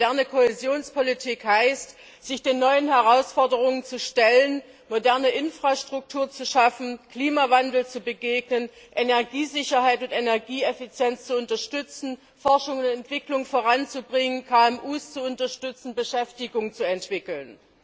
Moderne Kohäsionspolitik heißt, sich den neuen Herausforderungen zu stellen, moderne Infrastruktur zu schaffen, dem Klimawandel zu begegnen, Energiesicherheit und Energieeffizienz zu unterstützen, Forschung und Entwicklung voranzubringen, KMUs zu unterstützen, Beschäftigung zu entwickeln.